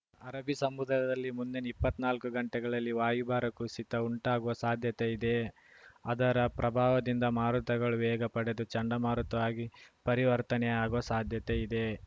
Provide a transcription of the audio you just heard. ಅರಬ್ಬಿ ಸಮುದ್ರದಲ್ಲಿ ಮುಂದಿನ ಇಪ್ಪತ್ನಾಕು ಗಂಟೆಗಳಲ್ಲಿ ವಾಯುಭಾರ ಕುಸಿತ ಉಂಟಾಗುವ ಸಾಧ್ಯತೆಯಿದೆ ಅದರ ಪ್ರಭಾವದಿಂದ ಮಾರುತಗಳು ವೇಗ ಪಡೆದು ಚಂಡಮಾರುತವಾಗಿ ಪರಿವರ್ತನೆಯಾಗುವ ಸಾಧ್ಯತೆಯಿದೆ